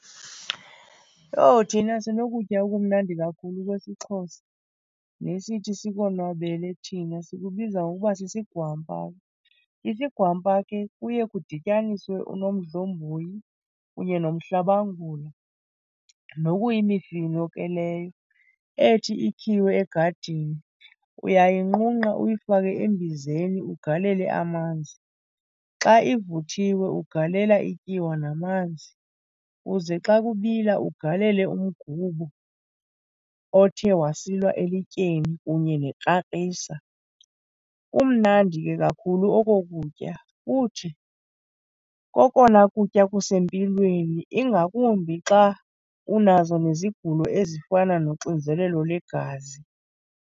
Yho, thina sinokutya okumnandi kakhulu kwesiXhosa nesithi sikonwabele thina. Sikubiza ngokuba sisigwampa. Isigwampa ke kuye kudityaniswe unomdlomboyi kunye nomhlabangula nokuyimifino ke leyo ethi ikhiwe egadini. Uyayinqunqa uyifake embizeni ugalele amanzi. Xa ivuthiwe ugalela ityiwa namanzi uze xa kubila ugalele umgubo othe wasilwa elityeni kunye nekrakrisa. Kumnandi ke kakhulu oko kutya futhi kokona kutya kusempilweni ingakumbi xa unazo nezigulo ezifana noxinzelelo legazi.